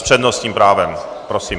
S přednostním právem, prosím.